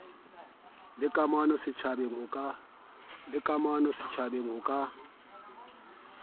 le kamano setjhabeng ho ka